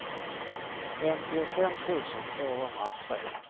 femtiofem tusen tvåhundratre